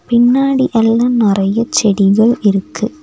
பின்னாடி எல்லா நறைய செடிகள் இருக்கு.